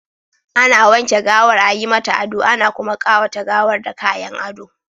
Ana wanke gawar, a yi mata ado, ana kuma ƙawata gawar da kayan ado.